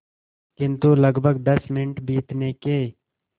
किंतु लगभग दस मिनट बीतने के